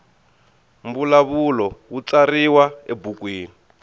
mbulavulo wu tsariwa ebukwini